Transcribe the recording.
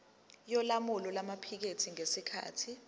yolawulo lwamaphikethi ngesikhathi